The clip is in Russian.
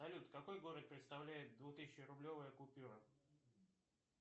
салют какой город представляет двух тысячи рублевая купюра